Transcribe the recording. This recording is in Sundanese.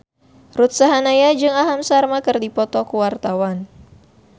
Ruth Sahanaya jeung Aham Sharma keur dipoto ku wartawan